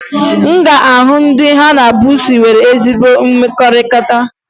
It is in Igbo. Ị ga-ahụ ndị ha na buusu nwere ezi mmekọrịta